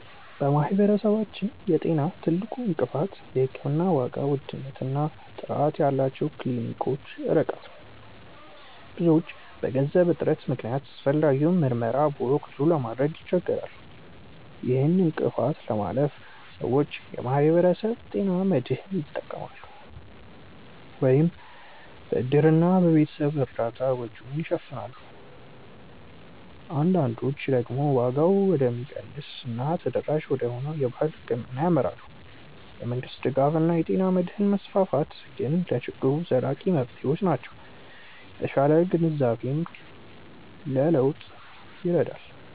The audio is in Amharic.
በማህበረሰባችን የጤና ትልቁ እንቅፋት የሕክምና ዋጋ ውድነት እና ጥራት ያላቸው ክሊኒኮች ርቀት ነው። ብዙዎች በገንዘብ እጥረት ምክንያት አስፈላጊውን ምርመራ በወቅቱ ለማድረግ ይቸገራሉ። ይህን እንቅፋት ለማለፍ ሰዎች የማህበረሰብ ጤና መድህን ይጠቀማሉ፤ ወይም በእድርና በቤተሰብ እርዳታ ወጪውን ይሸፍናሉ። አንዳንዶች ደግሞ ዋጋው ወደሚቀንሰው እና ተደራሽ ወደሆነው የባህል ሕክምና ያመራሉ። የመንግስት ድጋፍ እና የጤና መድህን መስፋፋት ግን ለችግሩ ዘላቂ መፍትሄዎች ናቸው። የተሻለ ግንዛቤም ለለውጥ ይረዳል።